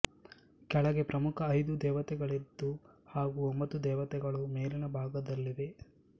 ಕೆಳಗೆ ಪ್ರಮುಖ ಐದು ದೇವತೆಗಳಿದ್ದು ಹಾಗೂ ಒಂಭತ್ತು ದೇವತೆಗಳು ಮೇಲಿನ ಭಾಗದಲ್ಲಿವೆ